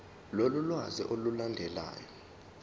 lolu lwazi olulandelayo